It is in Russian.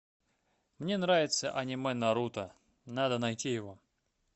мне нравится аниме наруто надо найти его